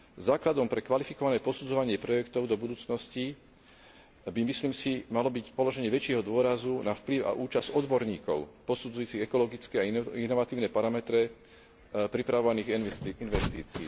Základom pre kvalifikované posudzovanie projektov do budúcnosti by, myslím si, malo byť položenie väčšieho dôrazu na vplyv a účasť odborníkov posudzujúcich ekologické a inovatívne parametre pripravovaných investícií.